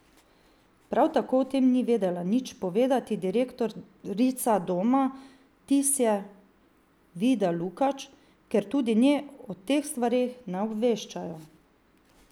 Prav tako o tem ni vedela nič povedati direktorica Doma Tisje Vida Lukač, ker tudi nje o teh stvareh ne obveščajo.